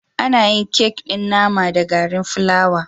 Ana yin kek ɗin naman da garin fulawa